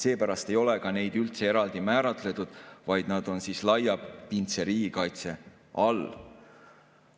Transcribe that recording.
Seepärast ei ole ka neid üldse eraldi määratletud, vaid nad on laiapindse riigikaitse all.